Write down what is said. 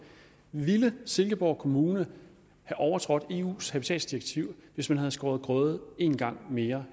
ville silkeborg kommune have overtrådt eu’s habitatdirektiv hvis man havde skåret grøde en gang mere